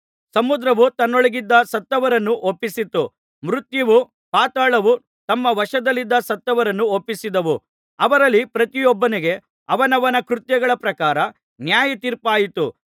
ಸಮುದ್ರವು ತನ್ನೊಳಗಿದ್ದ ಸತ್ತವರನ್ನು ಒಪ್ಪಿಸಿತು ಮೃತ್ಯುವೂ ಪಾತಾಳವೂ ತಮ್ಮ ವಶದಲ್ಲಿದ್ದ ಸತ್ತವರನ್ನು ಒಪ್ಪಿಸಿದವು ಅವರಲ್ಲಿ ಪ್ರತಿಯೊಬ್ಬನಿಗೆ ಅವನವನ ಕೃತ್ಯಗಳ ಪ್ರಕಾರ ನ್ಯಾಯತೀರ್ಪಾಯಿತು